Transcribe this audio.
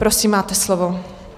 Prosím, máte slovo.